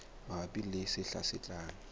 mabapi le sehla se tlang